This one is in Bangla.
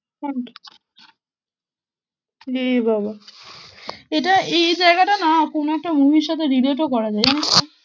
হম এ বাবা এটা এই জায়গাটা না কোনো একটা movie র সাথে relate ও করা যায় জানিস তো?